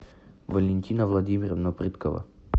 валентина владимировна прыткова